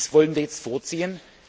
Dies wollen wir jetzt vorziehen.